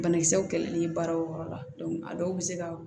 Banakisɛw kɛlɛli ye baara o yɔrɔ la a dɔw bɛ se ka